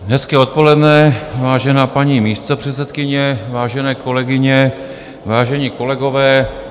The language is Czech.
Hezké odpoledne, vážená paní místopředsedkyně, vážené kolegyně, vážení kolegové.